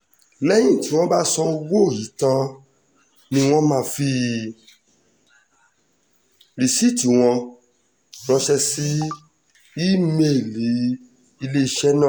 lẹ́yìn tí wọ́n bá sanwó yìí tán ni wọ́n máa fi rìsíìtì wọn ránṣẹ́ sí ìímeèlì iléeṣẹ́ náà